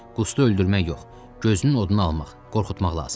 Qustu öldürmək yox, gözünün odunu almaq, qorxutmaq lazımdır.